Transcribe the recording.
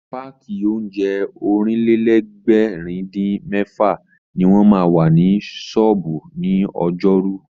Páàkì oúnjẹ Ọ̀rìnlélẹ̀ẹ́dẹ́gbèrin-dín-mẹ́fà ní wọ́n ma wà ní ṣọ́ọ̀bú ní ọjọ́rú